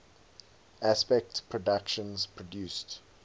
aspect productions produced